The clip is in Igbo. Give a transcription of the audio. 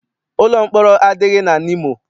Ụlọ mkpọrọ adịghị na Nimo.